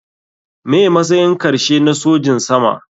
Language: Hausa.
Me matsayin karshe na sojin sama.